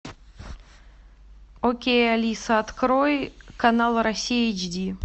окей алиса открой канал россия эйч ди